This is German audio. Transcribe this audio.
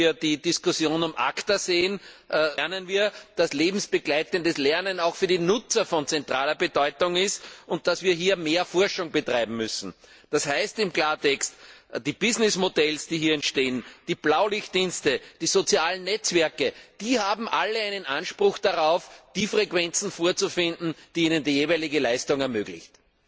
Wenn wir die Diskussion um ACTA sehen, lernen wir, dass lebensbegleitendes Lernen auch für den Nutzer von zentraler Bedeutung ist und dass wir hier mehr Forschung betreiben müssen. Das heißt im Klartext, die Geschäftsmodelle, die hier entstehen, die Blaulichtdienste, die sozialen Netzwerke, sie alle haben Anspruch darauf, die Frequenzen vorzufinden, die ihnen die jeweilige Leistung ermöglichen.